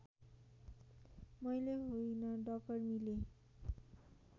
मैले होइन डकर्मीले